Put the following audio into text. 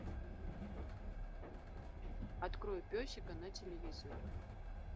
открой песика на телевизоре